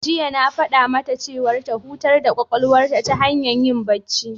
Jiya na faɗa mata ta hutar da ƙwaƙwalwar ta hanyar yin bacci.